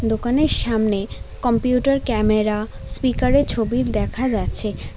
দোকানের সামনে computer camera স্পিকারের ছবি দেখা যাচ্ছে।